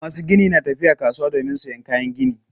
Masu gini na tafiya kasuwa domin sayan kayan gini.